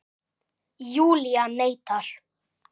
Júlía neitar.